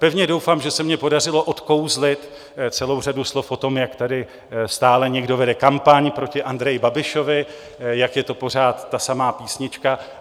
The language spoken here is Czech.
Pevně doufám, že se mně podařilo odkouzlit celou řadu slov o tom, jak tady stále někdo vede kampaň proti Andreji Babišovi, jak je to pořád ta samá písnička.